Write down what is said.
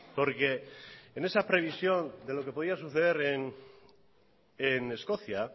porque en esa previsión de lo que podía suceder en escocia